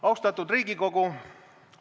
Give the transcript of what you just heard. Austatud Riigikogu!